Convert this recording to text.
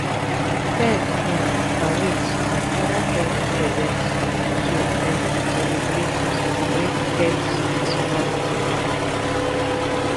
pet um parades and oda pet events to um celebrate celebrate pet personality